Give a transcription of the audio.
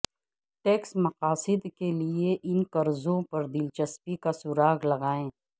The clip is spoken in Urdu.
ٹیکس مقاصد کے لئے ان قرضوں پر دلچسپی کا سراغ لگائیں